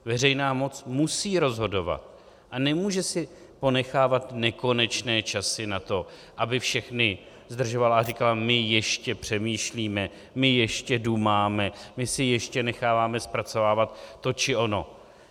Veřejná moc musí rozhodovat a nemůže si ponechávat nekonečné časy na to, aby všechny zdržovala a říkala: my ještě přemýšlíme, my ještě dumáme, my si ještě necháváme zpracovávat to či ono.